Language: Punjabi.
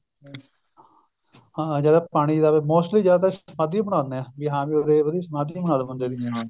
ਹਾਂ ਜਿਆਦਾ ਪਾਣੀ ਦਾ mostly ਜਿਆਦਾਤਰ ਸਮਾਂਧੀ ਬਣਾ ਦਿੰਨੇ ਆ ਵੀ ਹਾਂ ਵੀ ਉਹਦੇ ਉਹਦੀ ਸਮਾਂਧੀ ਬਨਾਦੋ ਬੰਦੇ ਦੀ